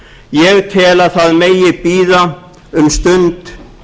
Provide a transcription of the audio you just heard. ég tel að það megi bíða um stund